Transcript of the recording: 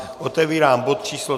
Otevírám bod číslo